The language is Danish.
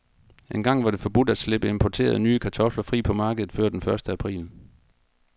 Engang var det forbudt at slippe importerede, nye kartofler fri på markedet før den første april.